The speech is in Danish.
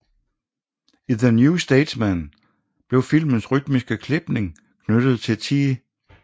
I the New Statesman blev filmens rytmiske klipning knyttet til T